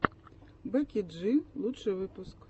бекки джи лучший выпуск